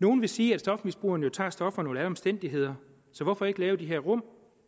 nogle vil sige at stofmisbrugerne jo tager stofferne under alle omstændigheder så hvorfor ikke lave de her rum